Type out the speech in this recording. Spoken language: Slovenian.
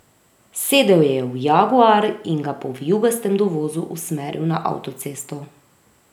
Sedel je v jaguar in ga po vijugastem dovozu usmeril na avtocesto.